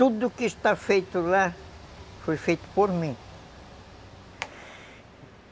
Tudo o que está feito lá, foi feito por mim.